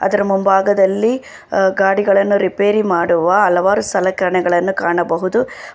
ಅದರ ಮುಂಭಾಗದಲ್ಲಿ ಅ ಗಾಡಿಗಳನ್ನ ರಿಪೇರಿ ಮಾಡುವ ಹಲವಾರು ಸಲಕರಣೆಗಳನ್ನು ಕಾಣಬಹುದು.